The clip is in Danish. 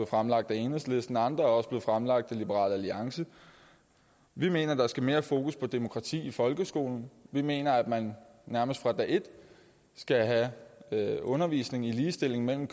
fremlagt af enhedslisten og andre er blevet fremlagt af liberal alliance vi mener der skal mere fokus på demokrati i folkeskolen vi mener at man nærmest fra dag et skal have undervisning i ligestilling mellem